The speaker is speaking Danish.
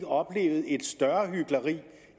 oplevet et større hykleri